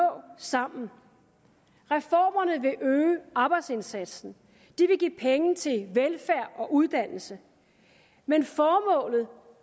sammen reformerne vil øge arbejdsindsatsen de vil give penge til velfærd og uddannelse men formålet